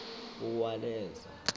uwaleza